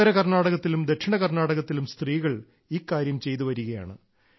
ഉത്തര കർണാടകത്തിലും ദക്ഷിണ കർണാടകത്തിലും സ്ത്രീകൾ ഈ കാര്യം ചെയ്തുവരികയാണ്